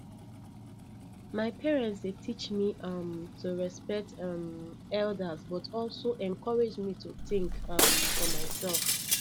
my parent dey teach me um to respect um elders but also encourage me to think um for myself